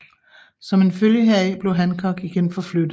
Som en følge heraf blev Hancock igen forflyttet